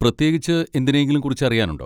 പ്രത്യേകിച്ച് എന്തിനെയെങ്കിലും കുറിച്ച് അറിയാനുണ്ടോ?